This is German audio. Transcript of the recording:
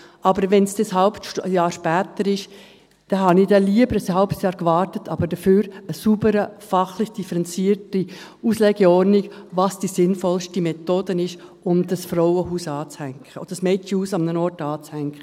Aber wenn es dann ein halbes Jahr später ist, dann habe ich dann lieber ein halbes Jahr gewartet, habe aber dafür eine saubere, fachlich differenzierte Auslegeordnung darüber, was die sinnvollste Methode ist, um das Mädchenhaus an einem Ort anzuhängen.